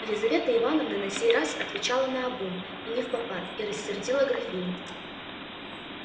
елизавета ивановна на сей раз отвечала наобум и невпопад и рассердила графиню